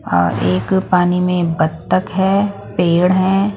और एक पानी में बत्तक है पेड़ हैं।